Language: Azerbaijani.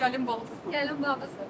Gəlin balası.